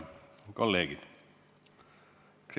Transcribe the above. Head kolleegid!